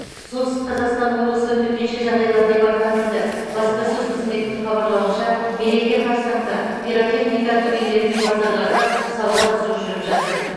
солтүстік қазақстан облысы төтенше жағдайлар департаменті баспасөз қызметінің хабарлауынша мереке қарсаңында пиротехника дүкендері мен базарларда сауда қызу жүріп жатыр